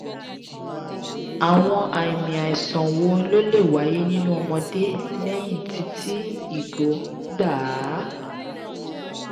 àwọn àmì aisan wo ló lè wáyé ninu omode lẹ́yìn tí tí igo gba a?